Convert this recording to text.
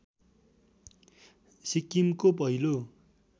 सिक्किमको पहिलो